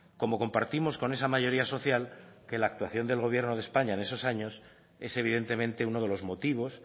como compartimos con esa mayoría social que la actuación del gobierno de españa en esos años es evidentemente uno de los motivos